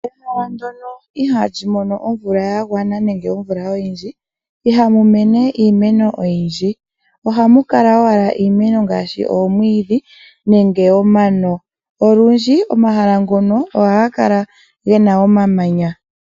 Ehala ndyono ihali mono omvula yagwana ihamu mene iimeno oyindji